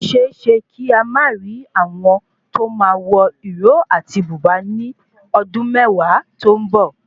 Ó séeésé kí a má rì àwọn tóo máa wọ ìró áti bùbáa ní ọdún mẹwàá to n bo